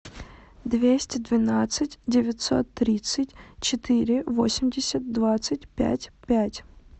двести двенадцать девятьсот тридцать четыре восемьдесят двадцать пять пять